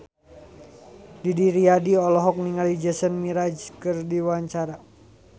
Didi Riyadi olohok ningali Jason Mraz keur diwawancara